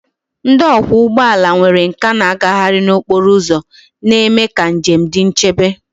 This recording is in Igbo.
Ndị ọkwọ ụgbọ ala nwere nkà na-agagharị n'okporo ụzọ, na-eme ka njem dị nchebe.